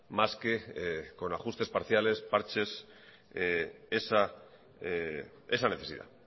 más que con ajustes parciales parches esa necesidad